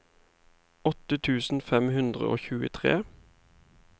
åtte tusen fem hundre og tjuetre